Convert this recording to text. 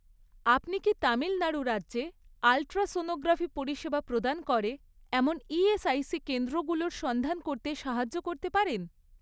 আপনি কি তামিল নাড়ু রাজ্যে আল্ট্রাসোনোগ্রাফি পরিষেবা প্রদান করে এমন ইএসআইসি কেন্দ্রগুলোর সন্ধান করতে সাহায্য করতে পারেন?